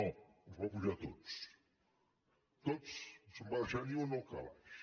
no els va apujar tots tots no se’n va deixar ni un al calaix